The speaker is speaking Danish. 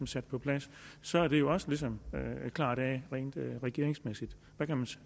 sat på plads så er det jo også ligesom klaret af rent regeringsmæssigt hvad kan